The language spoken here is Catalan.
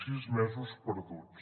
sis mesos perduts